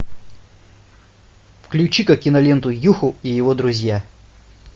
включи ка киноленту юху и его друзья